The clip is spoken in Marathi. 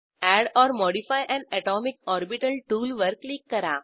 add or modify an atomic orbital टूलवर क्लिक करा